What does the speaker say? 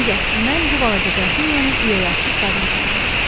Ancaq mən bu balaca qrafinyanı ürəyi açıq qadın kimi tanıdım.